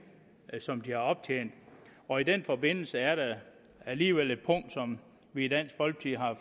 som de har optjent og i den forbindelse er der alligevel et punkt som vi i dansk folkeparti